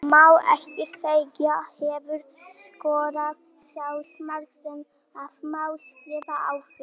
Má ekki segja Hefurðu skorað sjálfsmark sem að má skrifa á þig?